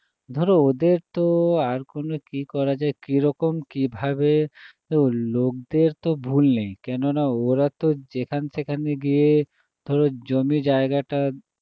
ধরো ওদের তো আর কোনো কী করা যায় কীরকম কীভাবে দেখো লোকদের তো ভুল নেই কেননা ওরা তো যেখান সেখানে গিয়ে ধরো জমি জায়গাটা